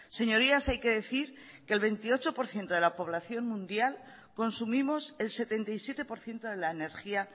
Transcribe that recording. señorías hay que decir que el veintiocho por ciento de la población mundial consumimos el setenta y siete por ciento de la energía